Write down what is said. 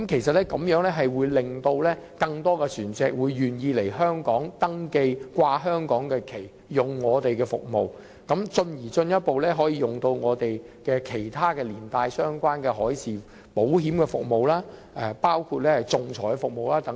這會令更多船隻願意來香港登記，懸掛香港旗幟，使用我們的服務，繼而進一步使用其他相關的服務，例如海事保險、仲裁等。